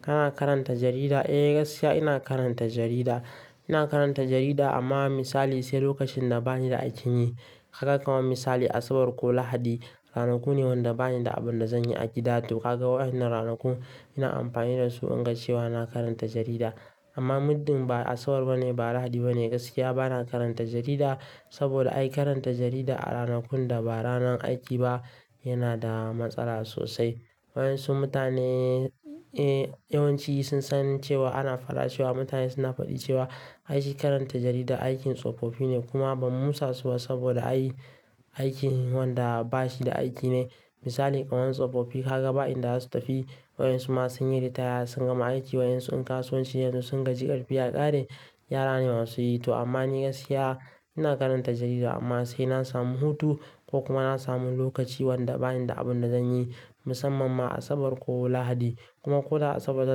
Kana karanta jarida? Eh, gaskiya ina karanta jarida. Ina karanta jarida amma misali sai lokacin da bani da aikin yi. Kaka kuma misali Asabar ko Lahadi, ranaku ne wanda bani da abin da zan yi a gida. To kaga waɗannan ranaku ina amfani da su in ga cewa na karanta jarida. Amma muddin ba Asabar ba ne ba Lahadi ba ne, gaskiya bana karanta jarida. Saboda ai karanta jarida a ranakun da ba ranar aiki ba yana da matsala sosai. Waɗansu mutane, eh, yawanci sun san cewa ana faɗa cewa mutane suna faɗi cewa aishi karanta jarida aikin tsofofi ne kuma bamu musa su ba saboda ay aikin wanda bashi da aiki ne. Misali kawai tsofofi kaga ba inda za su tafi, waɗansu ma sun yi ritaya, sun gama aiki waɗansu in kasuwanci yanzu sun gaji ƙarfi ya ƙare, yara ne masu yi. To amma ni gaskiya ina karanta jarida amma sai na samu hutu ko kuma na samu lokaci wanda bani da abin da zan yi, musamman ma Asabar ko Lahadi. Kuma ko da Asabar da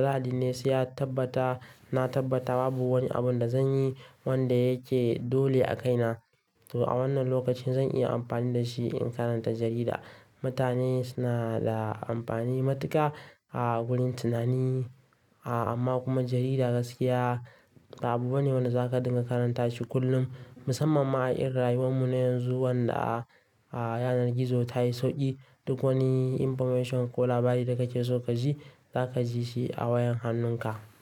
Lahadi ne sai ya tabbata, na tabbata babu wani abin da zan yi wanda yake dole a kaina. To a wannan lokacin zan iya amfani da shi in karanta jarida. Mutane suna da amfani matuƙa a wurin tunani, a amma kuma jarida gaskiya ba abu bane wanda zaka dinga karanta shi kullum. Musamman ma a irin rayuwar mu na yanzu wanda a, a yanar gizo ta yi sauƙi. Duk wani information ko labari da kake so ka ji, za ka ji shi a wayan hannunka.